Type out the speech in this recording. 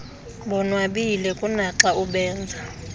bonwabile kunaxa ubenza